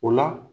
O la